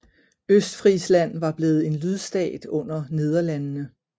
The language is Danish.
Østfrisland var blevet en lydstat under Nederlandene